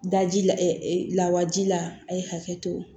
Daji la lawaji la a ye hakɛ to